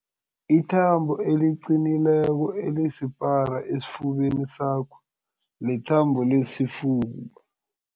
Ithambo eliqinileko elisipara esifubeni sakho lithambo lesifuba.